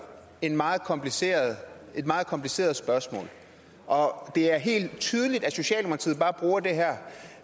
et meget kompliceret meget kompliceret spørgsmål og det er helt tydeligt at socialdemokratiet bare bruger